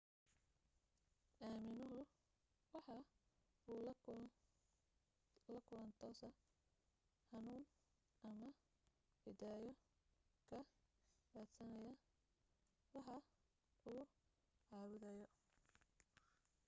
aaminuhu waxa uu la kulan toosa hanuun ama hidaayo ka raadsanayaa waxa uu caabudayo